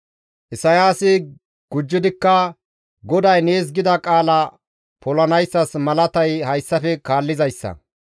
Isayaasi gujjidikka, «GODAY nees gida qaala polanayssas malatay hayssafe kaallizayssa;